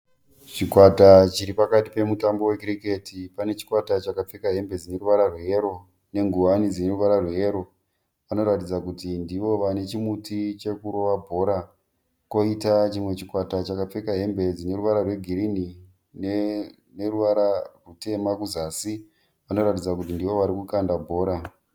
Chikwata chiri pakati pemutambo wecricket. Pane chikwata chakapfeka hembe dzine ruvara rweyero nengowani dzine ruvara rweyero. Vanoratidza kuti ndivo vane chimuti chekurova bhora. Kwoita chimwe chikwata chakapfeka hembe dzine ruvara rwegirinhi neruvara rutema kuzasi vanoratidza kuti ndivo vari kukanda bhora.